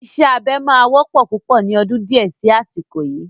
Ìṣe abẹ máa wọ́pọ̀ púpọ̀ ni ọdún di ẹ sì asiko yii